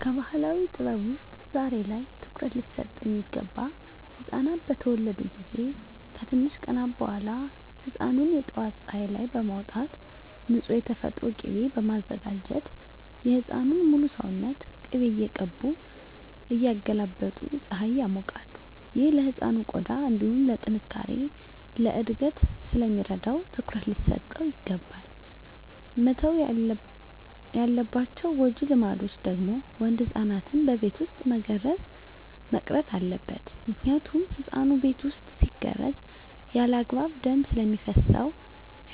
ከባህላዊ ጥበብ ውስጥ ዛሬ ላይ ትኩሩት ሊሰጠው ሚገባ ህፃናት በተወለዱ ጊዜ ከትንሽ ቀናት በኋላ ህፃኑን የጠዋት ፀሀይ ላይ በማውጣት ንፁህ የተፈጥሮ ቂቤ በማዘጋጀት የህፃኑን ሙሉ ሰውነት ቅቤ እየቀቡ እያገላበጡ ፀሀይ ያሞቃሉ። ይህ ለህፃኑ ቆዳ እንዲሁም ለጥነካሬ፣ ለእድገት ስለሚረዳው ትኩረት ሊሰጠው ይገባል። መተው ያለባቸው ጎጂ ልማዶች ደግሞ ወንድ ህፃናትን በቤት ውስጥ መገረዝ መቅረት አለበት ምክንያቱም ህፃኑ ቤት ውስጥ ሲገረዝ ያለአግባብ ደም ስለሚፈስሰው